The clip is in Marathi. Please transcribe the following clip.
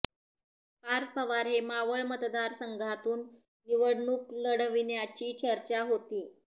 पार्थ पवार हे मावळ मतदारसंघातून निवडणूक लढविण्याची चर्चा होती